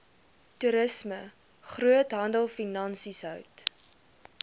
toerisme groothandelfinansies hout